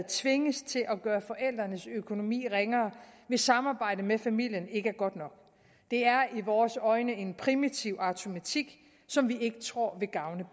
tvinges til at gøre forældrenes økonomi ringere hvis samarbejdet med familien ikke er godt nok det er i vores øjne en primitiv automatik som vi ikke tror vil gavne